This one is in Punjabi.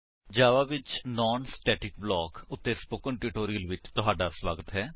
ਜਾਵਾ ਵਿੱਚ ਨਾਨ ਸਟੇਟਿਕ ਬਲਾਕ ਉੱਤੇ ਸਪੋਕਨ ਟਿਊਟੋਰਿਅਲ ਵਿੱਚ ਤੁਹਾਡਾ ਸਵਾਗਤ ਹੈ